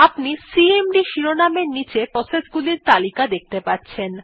আপনি সিএমডি শিরোনাম এর নীচে প্রসেস গুলির নাম দেখতে পাচ্ছেন